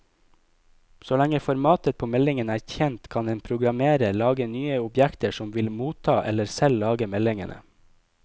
Så lenge formatet på meldingen er kjent, kan en programmerer lage nye objekter som vil motta eller selv lage meldingene.